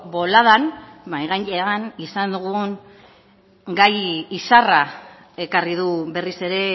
boladan mahai gainean izan dugun gai izarra ekarri du berriz ere